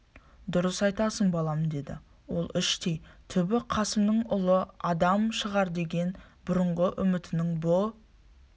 дұрыс айтасың балам деді ол іштей түбі қасымнан ұлы адам шығар деген бұрынғы үмітінің бұ